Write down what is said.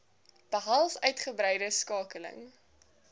behels uitgebreide skakeling